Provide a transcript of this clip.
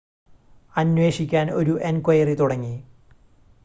അന്വേഷിക്കാൻ ഒരു എൻക്വയറി തുടങ്ങി